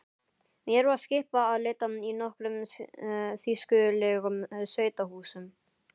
Mér var skipað að leita í nokkrum þýskulegum sveitahúsum.